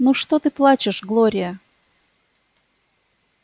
ну что ты плачешь глория